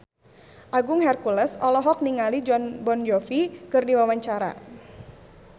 Agung Hercules olohok ningali Jon Bon Jovi keur diwawancara